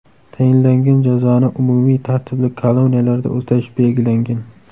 Tayinlangan jazoni umumiy tartibli koloniyalarda o‘tash belgilangan.